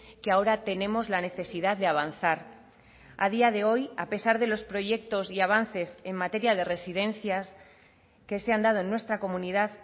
que ahora tenemos la necesidad de avanzar a día de hoy a pesar de los proyectos y avances en materia de residencias que se han dado en nuestra comunidad